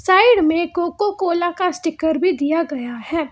Side में Coca Cola का sticker भी दिया गया है।